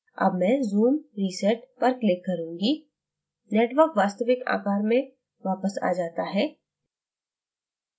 अब मैं zoom reset पर click करूँगी network वास्तविक आकार में वापस आ जाता है